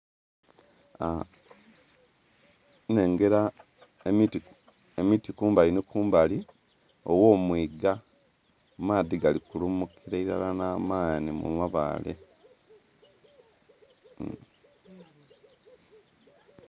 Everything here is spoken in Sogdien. Nnhengera emiti...emiti kumbali ni kumbali ogh'omwiga amaadhi gali kulumukira ilala n'amaanhi mu mabaale.